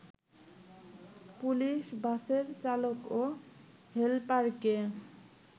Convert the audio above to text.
police বাসের চালক ও হেলপারকে